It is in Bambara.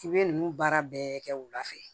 I bɛ ninnu baara bɛɛ kɛ wula fɛ